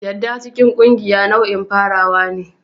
Yarda cikin ƙungiya nau'in farawa ne.